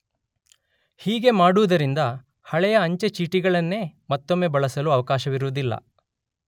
ಹೀಗೆ ಮಾಡುವುದರಿಂದ ಹಳೆಯ ಅಂಚೆ ಚೀಟಿಗಳನ್ನೇ ಮತ್ತೊಮ್ಮೆ ಬಳಸಲು ಅವಕಾಶವಿರುವುದಿಲ್ಲ.